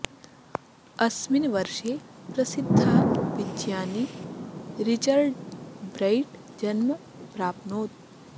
अस्मिन् वर्षे प्रसिद्धः विज्ञानी रिचर्ड् ब्रैट् जन्म प्राप्नोत्